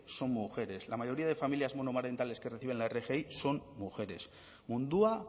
son mujeres la mayoría de familias monomarentales que reciben la rgi son mujeres mundua